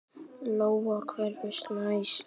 Lóa: Hvernig næst það?